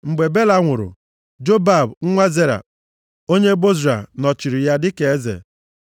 Mgbe Bela nwụrụ, Jobab nwa Zera onye Bozra nọchiri ya dịka eze.